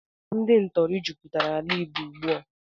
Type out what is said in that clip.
Ndị ntọrị jụpụtara ala Igbo ụgbụ a